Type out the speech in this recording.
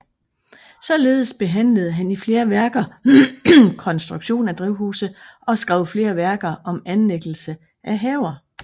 Således behandlede han i flere værker konstruktion af drivhuse og skrev flere værker om anlæggelse af haver